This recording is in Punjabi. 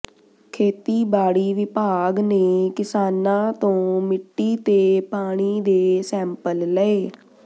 ਖੇਤੀਬਾੜੀ ਵਿਭਾਗ ਨੇ ਕਿਸਾਨਾਂ ਤੋਂ ਮਿੱਟੀ ਤੇ ਪਾਣੀ ਦੇ ਸੈਂਪਲ ਲਏ